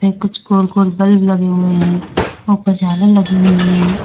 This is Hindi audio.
ये कुछ गोल गोल बल्ब लगे हुए है ऊपर झालर लगी हुई हैं।